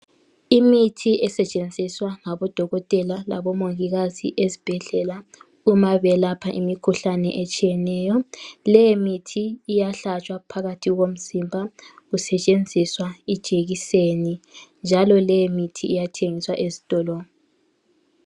Imithi esetshenziswa ngabodokothela labomongikazi ezibhedlela. Uma belapha imikhuhlane etshiyeneyo, leyi mithi iyahlatshwa phakathi komzimba kusetshenziswa ijekiseni njalo leyi mithi iyathengiswa ezitolo.